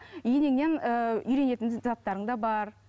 і енеңнен ііі үйренетін заттарың да бар